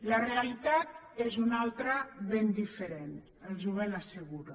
la realitat és una altra ben diferent els ho ben asseguro